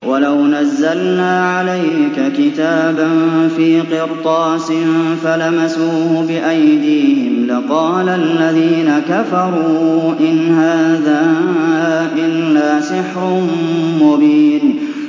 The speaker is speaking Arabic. وَلَوْ نَزَّلْنَا عَلَيْكَ كِتَابًا فِي قِرْطَاسٍ فَلَمَسُوهُ بِأَيْدِيهِمْ لَقَالَ الَّذِينَ كَفَرُوا إِنْ هَٰذَا إِلَّا سِحْرٌ مُّبِينٌ